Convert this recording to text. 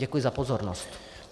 Děkuji za pozornost.